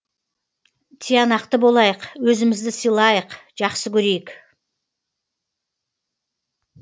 тиянақты болайық өзімізді сыйлайық жақсы көрейік